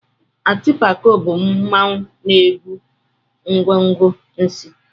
Atịpako bụ mmanwụ na-ebu ngwo ngwo n'isí.